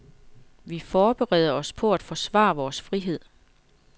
Vi forbereder os på at forsvare vores frihed.